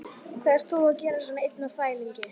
Hvað ert þú að gera svona einn á þvælingi?